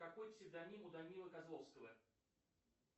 какой псевдоним у данилы козловского